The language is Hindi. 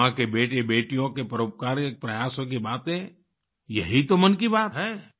भारत माँ के बेटेबेटियों के परोपकारिक प्रयासों की बातें यही तो है मन की बात